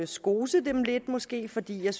skose dem lidt måske fordi jeg